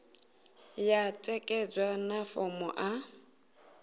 ya ṋekedzwa na fomo a